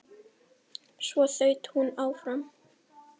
Svo þaut hún áfram.